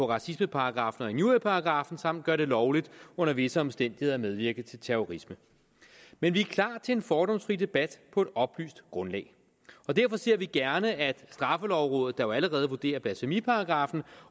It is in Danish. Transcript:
racismeparagraffen og injurieparagraffen samt gøre det lovligt under visse omstændigheder at medvirke til terrorisme men vi er klar til en fordomsfri debat på et oplyst grundlag og derfor ser vi gerne at straffelovrådet der jo allerede vurderer blasfemiparagraffen